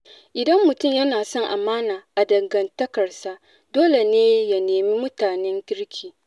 Idan mutum yana son amana a dangantakarsa, dole ne ya nemi mutanen kirki.